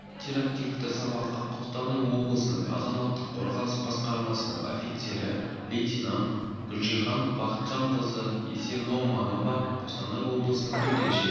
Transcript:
интерактивті сабаққа қостанай облысының азаматтық қорғаныс басқармасының офицері лейтенант гүлжихан бақытжанқызы исеноманова қостанай облысының төтенше